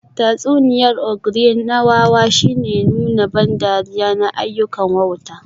Tatsuniyar ogre na wawa shine nuna ban dariya na ayyukan wauta